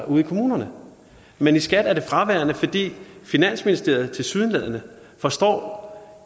ude i kommunerne men i skat er det fraværende fordi finansministeriet tilsyneladende forstår